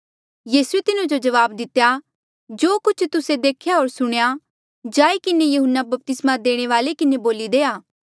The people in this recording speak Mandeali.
यीसूए तिन्हो जबाब दितेया जो कुछ तुस्से देख्या होर सुणेया जाई किन्हें यहून्ना बपतिस्मा देणे वाल्ऐ किन्हें बोली देआ